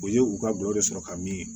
O ye u ka duwawu sɔrɔ ka min